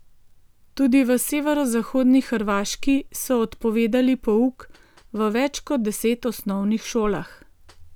Tudi v severozahodni Hrvaški so odpovedali pouk v več kot deset osnovnih šolah.